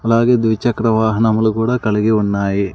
అలాగే ద్విచక్ర వాహనములు కూడా కలిగి ఉన్నాయి.